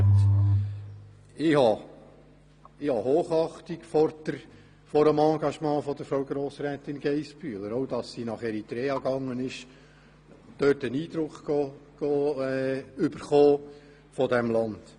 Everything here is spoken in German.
Ich habe Hochachtung vor dem Engagement von Frau Grossrätin Geissbühler, auch weil sie nach Eritrea gereist ist, um dort einen Eindruck dieses Landes zu erhalten.